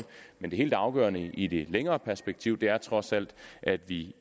men det helt afgørende i det længere perspektiv er trods alt at vi